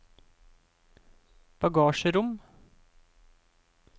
bagasjerom